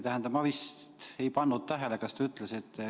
Ma ei pannud tähele, kas te viimati ütlesite.